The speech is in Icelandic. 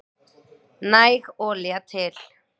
Næg olía til